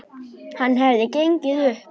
Það hefði gengið upp.